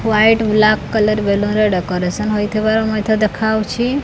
White black colour balloon ରେ decoration ହୋଇଥିବାର ମଧ୍ୟ ଦେଖାଯାଉଛି।